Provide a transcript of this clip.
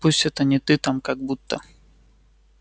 пусть это не ты там как будто